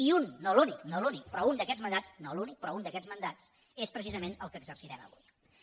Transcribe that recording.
i un no l’únic no l’únic però un d’aquests mandats no l’únic però un d’aquests mandats és precisament el que exercirem avui